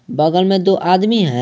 बगल में दो आदमी हैं।